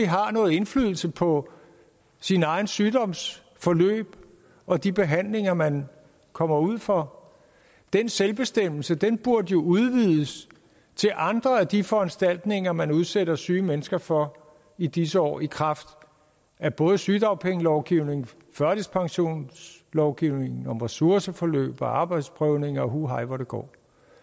har noget indflydelse på sin egen sygdoms forløb og de behandlinger man kommer ud for den selvbestemmelse burde jo udvides til andre af de foranstaltninger man udsætter syge mennesker for i disse år i kraft af både sygedagpengelovgivningen og førtidspensionslovgivningen om ressourceforløb og arbejdsprøvning og huhej hvor det går